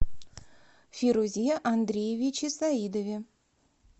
фирузе андреевиче саидове